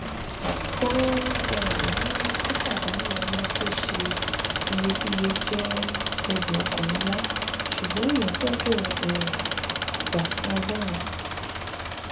ó um ní pípàdánù ọmọ tó ṣe iyebíye jẹ ẹdùn ọkàn ńlá ṣùgbọn èèyàn gbọdọ um gbà fún ọlọrun